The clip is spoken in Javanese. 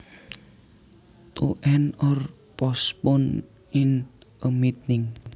To end or postpone in a meeting